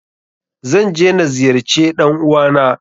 Zan je na ziyarce ɗan uwa na.